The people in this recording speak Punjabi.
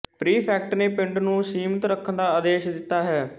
ਪ੍ਰੀਫੈਕਟ ਨੇ ਪਿੰਡ ਨੂੰ ਸੀਮਤ ਰੱਖਣ ਦਾ ਆਦੇਸ਼ ਦਿੱਤਾ ਹੈ